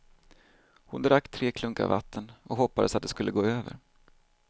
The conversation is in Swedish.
Hon drack tre klunkar vatten och hoppades att det skulle gå över.